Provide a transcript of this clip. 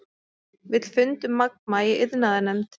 Vill fund um Magma í iðnaðarnefnd